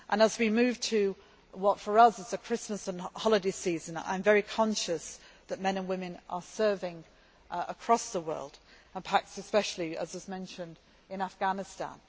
As we move to what, for us, is the Christmas and holiday season, I am very conscious that men and women are serving across the world and, especially, as was mentioned, in Afghanistan.